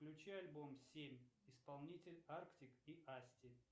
включи альбом семь исполнитель артик и асти